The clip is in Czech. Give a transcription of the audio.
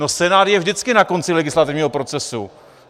No Senát je vždycky na konci legislativního procesu.